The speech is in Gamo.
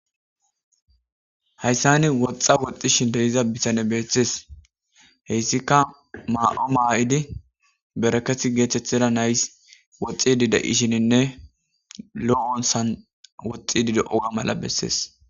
hayssani woxxa woxxi shin deiza bisane betees heyssika ma7o maa7idi beraketi geethethida nays woxxi dide ishininne loo7onsan woxxi dide oga mala bessees